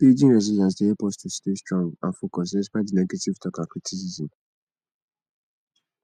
building resilience dey help us to stay strong and focused despite di negative talk and criticism